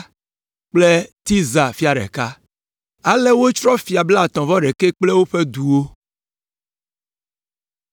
kple Tirza fia ɖeka. Ale wotsrɔ̃ fia blaetɔ̃-vɔ-ɖekɛ kple woƒe duwo.